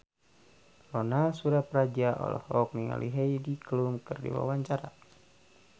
Ronal Surapradja olohok ningali Heidi Klum keur diwawancara